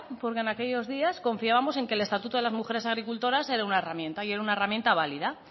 porque en aquellos días confiábamos en que el estatuto de las mujeres agricultoras era una herramienta y era una herramienta válida